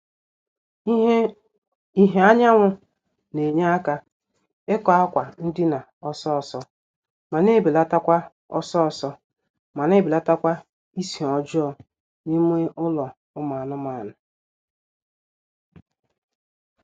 ìhè anyanwụ na-enye aka ịkọ akwa ndina ọsọọsọ ma na-ebelatakwa ọsọọsọ ma na-ebelatakwa ísì ọjọọ n'ime ụlọ ụmụ anụmaanụ